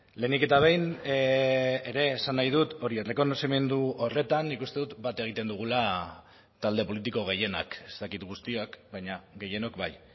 lehenik eta behin ere esan nahi dut hori errekonozimendu horretan nik uste dut bat egiten dugula talde politiko gehienak ez dakit guztiak baina gehienok bai